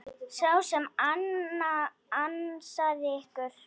Sá sem ansaði ykkur.